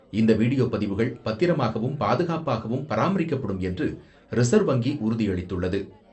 இந்த வீடியோ பதிவுகள் பத்திரமாகவும், பாதுகாப்பாகவும் பராமரிக்கப்படும் என்று ரிசர்வ் வங்கி உறுதியளித்துள்ளது.